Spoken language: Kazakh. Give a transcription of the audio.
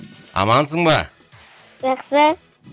амансың ба жақсы